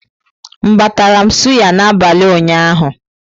M batara m suyà n'abalị ụnyaahụ.